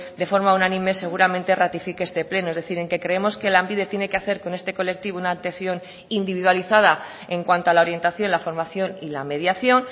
de forma unánime seguramente ratifique este pleno es decir en que creemos que lanbide tiene que hacer con este colectivo una atención individualizada en cuanto a la orientación la formación y la mediación